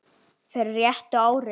fyrir réttu ári.